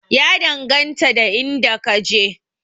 Ya danganta da inda ka je